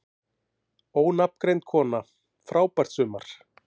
Ónafngreind kona: Frábært sumar?